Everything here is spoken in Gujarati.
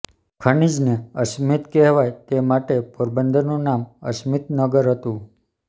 ખનીજને અસ્મિત કહેવાય તે માટે પોરબંદરનું નામ અસ્મિત નગર હતું